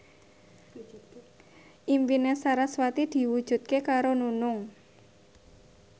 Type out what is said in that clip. impine sarasvati diwujudke karo Nunung